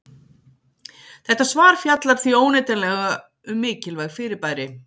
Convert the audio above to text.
Þetta svar fjallar því óneitanlega um mikilvæg fyrirbæri!